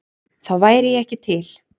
Þá væri ég ekki til?